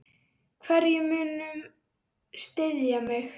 Hverjir munu styðja mig?